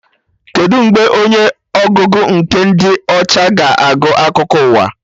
Kedụ mgbe onye ọgụgụ nke dị ọcha ga-agụ akụkọ ụwa?